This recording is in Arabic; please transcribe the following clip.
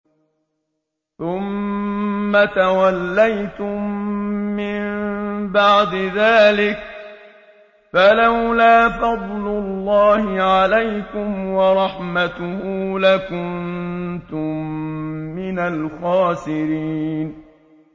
ثُمَّ تَوَلَّيْتُم مِّن بَعْدِ ذَٰلِكَ ۖ فَلَوْلَا فَضْلُ اللَّهِ عَلَيْكُمْ وَرَحْمَتُهُ لَكُنتُم مِّنَ الْخَاسِرِينَ